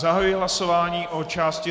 Zahajuji hlasování o části